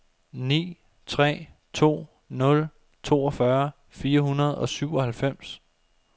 ni tre to nul toogfyrre fire hundrede og syvoghalvfems